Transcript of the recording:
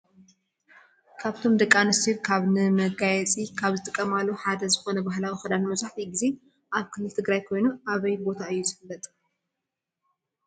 ካብቶም ደቂ ኣንስትዮ ካብ ነመጋየሒ ካብ ዝጥቀማሉ ሓደ ዝኮነ ባህላዊት ክዳን መብዛሒትኡ ግዜ ኣብ ክልል ትግራይ ኮይኑ ኣበይ ቦታ እዩ ዝፍለጥ?